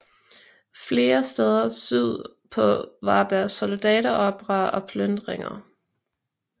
Flere steder syd på var der soldateroprør og plyndringer